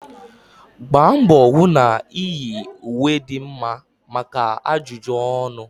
Gbaa mbọ hụ na iyi ùwé dị mma maka ajụjụ ọnụ